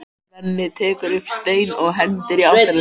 Svenni tekur upp stein og hendir í áttina til þeirra.